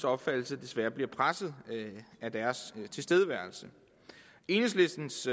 opfattelse desværre bliver presset af deres tilstedeværelse enhedslistens